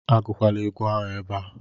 Agụkwala egwu ahụ ebe a